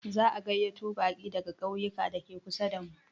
Za a gayyato baƙi daga ƙauyuka dake kusa damu.